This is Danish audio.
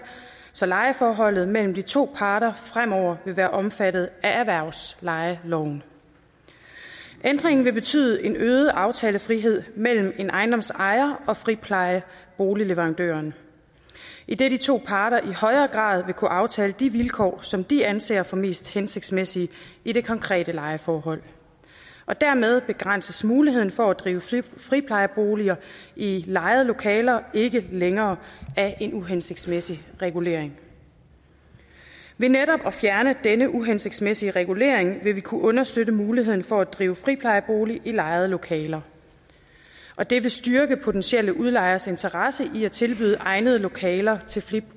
så lejeforholdet mellem de to parter fremover vil være omfattet af erhvervslejeloven ændringen vil betyde en øget aftalefrihed mellem en ejendoms ejer og friplejeboligleverandøren idet de to parter i højere grad vil kunne aftale de vilkår som de anser for mest hensigtsmæssige i det konkrete lejeforhold og dermed begrænses muligheden for at drive friplejeboliger i lejede lokaler ikke længere af en uhensigtsmæssig regulering ved netop at fjerne denne uhensigtsmæssige regulering vil vi kunne understøtte muligheden for at drive friplejeboliger i lejede lokaler og det vil styrke potentielle udlejeres interesse i at tilbyde egnede lokaler til til